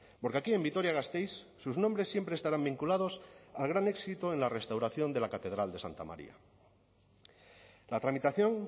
porque aquí en vitoria gasteiz sus nombres siempre estarán vinculados al gran éxito en la restauración de la catedral de santa maría la tramitación